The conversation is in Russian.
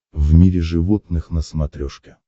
в мире животных на смотрешке